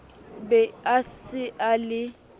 be a se a le